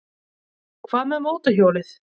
Hvað með mótorhjólið?